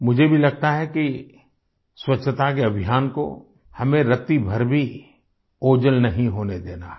मुझे भी लगता है कि स्वच्छता के अभियान को हमें रत्ती भर भी ओझल नहीं होने देना है